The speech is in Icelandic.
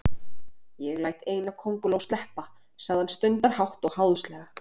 Ég læt eina kónguló sleppa, sagði hann stundarhátt og háðslega.